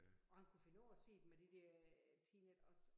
Og han kunne finde på at sige det med det der teenage og